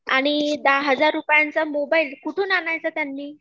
आणि दहा हजार रुपयाचा मोबाइल, कुठून आणायचा त्यांनी?